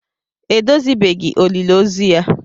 Edozibeghị olili ozu ya